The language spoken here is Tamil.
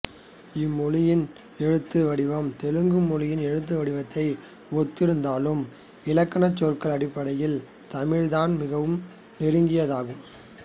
இம்மொழியின் எழுத்து வடிவம் தெலுங்கு மொழியின் எழுத்து வடிவத்தை ஒத்து இருந்தாலும் இலக்கணம்சொற்கள் அடிப்படையில் தமிழ்தான் மிகவும் நெருங்கியதாகும்